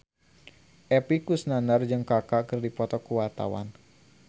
Epy Kusnandar jeung Kaka keur dipoto ku wartawan